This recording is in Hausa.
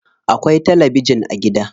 Akwai tabijin a gida.